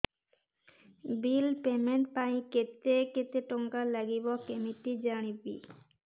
bill payment ପାଇଁ କେତେ କେତେ ଟଙ୍କା ଲାଗିବ କେମିତି ଜାଣିବି